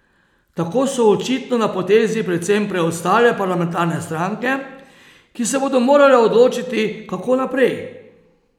Tako so očitno na potezi predvsem preostale parlamentarne stranke, ki se bodo morale odločiti, kako naprej.